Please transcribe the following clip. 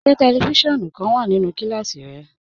Ṣẹ tẹlífísiọ̀nù kan wà nínú kílásí rẹ?